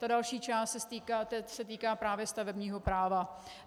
Ta další část se týká právě stavebního práva.